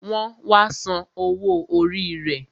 Wọn wá san owó orí rẹ